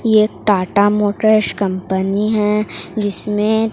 ये Tata motors company है जिसमें--